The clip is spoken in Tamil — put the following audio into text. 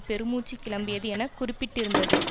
பெருமூச்சு கிளம்பியது என குறிப்பிட்டிருந்தது